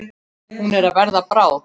Hún er að verða bráð.